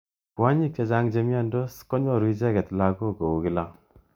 Kwonyik chechang chemnyandos konyoru icheket lakok kou kila.